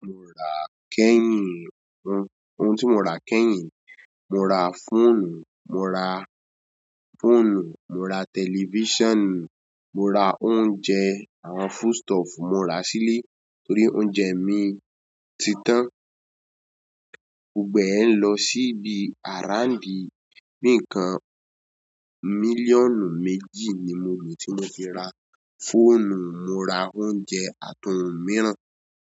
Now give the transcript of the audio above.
Mo ra kẹ́yìn ohun, ohun tí mo ra kẹ́yìn, mo ra fóònù, mo ra fóònù, mo ra tẹlifíṣàn, mo ra oúnjẹ, àwọn food stuff, mo ra sílé torí oúnjẹ mi ti tán. Gbogbo ẹ ń lọ sí ibi àráǹbí, níǹkan mílíọ̀nù méjì ni mo rìn tí mo fi ra fóònù, mo ra oúnjẹ àti ohun mìíràn.